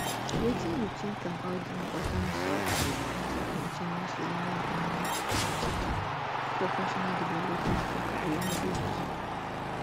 wetin you think about di importance of um continuous learning and professional development for career growth